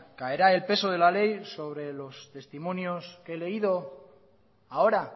caerá el peso de la ley sobre los testimonios que he leído ahora